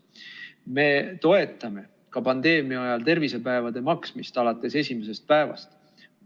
Me toetame ka pandeemia ajal tervisepäevade eest maksmist alates esimesest päevast.